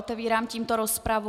Otevírám tímto rozpravu.